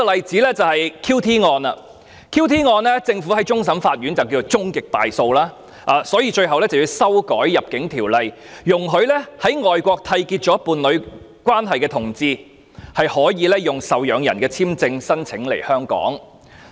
就着 QT 案，政府在終審法院已被判終極敗訴，所以最終要修改《入境條例》，容許在外國締結伴侶關係的同志能申請受養人簽證在港逗留。